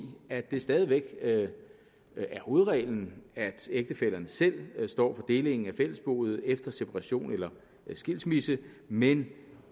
at det stadig væk er hovedreglen at ægtefællerne selv står for delingen af fællesboet efter separation eller skilsmisse men